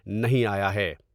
نہیں آیا ہے ۔